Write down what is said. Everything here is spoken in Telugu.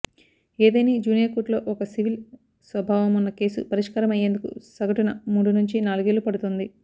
ఏదేని జూనియర్ కోర్టులో ఒక సివిల్ స్వభావమున్న కేసు పరిష్కారమయ్యేందుకు సగటున మూడు నుంచి నాలుగేళ్లు పడుతోంది